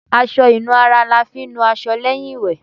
Aṣọ ìnura ni a fi ń nu ara lẹ́yìn ìwẹ̀.